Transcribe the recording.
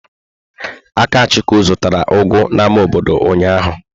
Akachukwu zụtara ugu n'ámá obodo ụnyahụ.